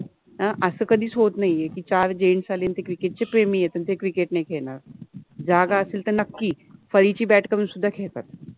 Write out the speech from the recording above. अ अस कधिच होत नाहि आहे कि चार जेंट्स आले आणि ते क्रिकेट {cricket} चे प्रेमि आहेत आणी ते क्रिकेट {cricket} नाहि खेळनार, जागा असेल त नक्कि, फळिचि बॅट {bat} करुन सुद्धा खेळतात.